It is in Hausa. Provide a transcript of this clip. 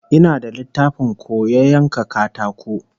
Ina da littafin koya yanka katako